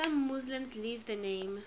some muslims leave the name